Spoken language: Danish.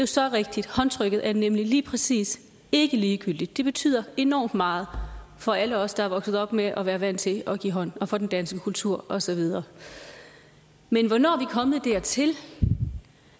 så rigtigt håndtrykket er nemlig lige præcis ikke ligegyldigt det betyder enormt meget for alle os der er vokset op med at være vant til at give hånd og for den danske kultur og så videre men hvornår er vi kommet dertil